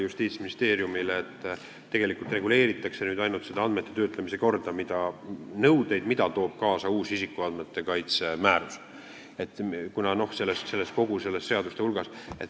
Justiitsministeeriumi lähtekoht oli, et reguleeritakse ainult seda andmete töötlemise korda ja neid nõudeid, mida toob kaasa uus isikuandmete kaitse määrus.